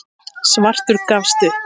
Svartur gafst upp.